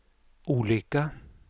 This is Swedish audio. olika